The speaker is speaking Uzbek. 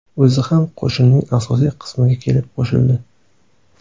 O‘zi ham qo‘shinning asosiy qismiga kelib qo‘shildi.